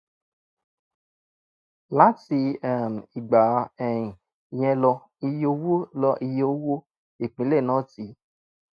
láti um ìgbà um yẹn lọ iye owó lọ iye owó ìpínlẹ̀ náà ti